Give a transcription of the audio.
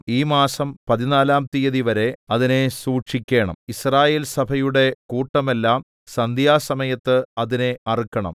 ഈ മാസം പതിനാലാം തീയതിവരെ അതിനെ സൂക്ഷിക്കേണം യിസ്രായേൽസഭയുടെ കൂട്ടമെല്ലാം സന്ധ്യാസമയത്ത് അതിനെ അറുക്കണം